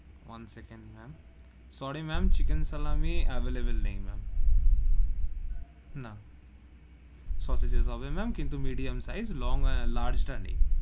One second ma'am, sorry ma'am chicken salami available নেই, ma'am না sauces হবে ma'am কিন্তু medium sauces size ও লং এ large তা নেই.